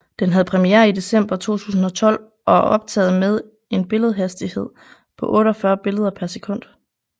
Den havde premiere i december 2012 og er optaget med en billedhastighed på 48 billeder per sekund